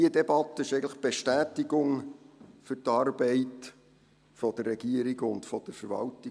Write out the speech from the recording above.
Diese Debatte ist eigentlich die Bestätigung für die Arbeit der Regierung und von der Verwaltung.